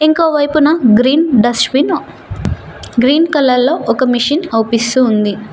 ఇంకో వైపున green dust bin green colour లో ఒక మిషిన్ అవుపిస్తూ ఉంది.